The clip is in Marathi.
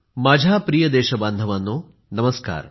माझ्या प्रिय देशबांधवांनो नमस्कार